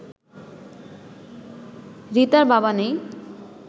রিতার বাবা নেই